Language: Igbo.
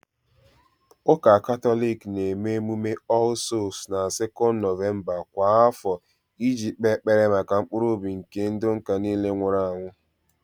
Ụka Katọlik na-eme emume "All Souls" na 2nd November kwa afọ iji kpe ekpere maka mkpụrụ obi nke ndị ụka nile nwụrụ anwụ